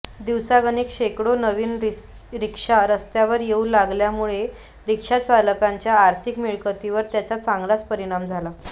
दिवसागणिक शेकडो नवीन रिक्षा रस्त्यावर येऊ लागल्यामुळे रिक्षाचालकांच्या आर्थिक मिळकतीवर त्याचा चांगलाच परिणाम झाला